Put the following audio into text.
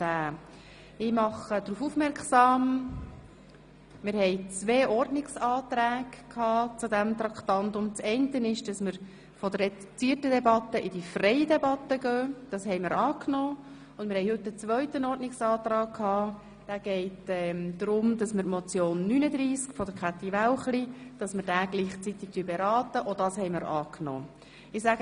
Gemäss dem angenommenen Ordnungsantrag von Grossrätin Wälchli beraten wir dieses Geschäft gemeinsam mit Traktandum 39, der Motion 222-2016, und führen darüber eine freie anstelle einer reduzierten Debatte.